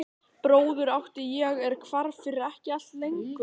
Bróður átti ég er hvarf fyrir ekki allt löngu.